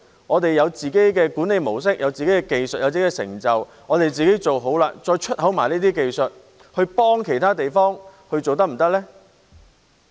我們有了自己的管理模式、技術和成就，自己做好了，再一併輸出這些技術，協助其他地方，是否可行呢？